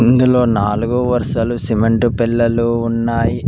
ఇందులో నాలుగు వర్షలో సిమెంటు పెల్లలు ఉన్నాయి.